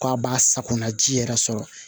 K'a b'a sakona ji yɛrɛ sɔrɔ